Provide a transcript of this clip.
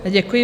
Děkuji.